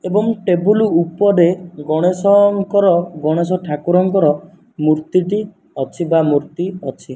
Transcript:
ଏବଂ ଟେବୁଲ ଉପରେ ଗଣେଶଙ୍କର ଗଣେଷ ଠାକୁରଙ୍କର ମୂର୍ତ୍ତି ଟି ଅଛି ବା ମୂର୍ତ୍ତି ଅଛି।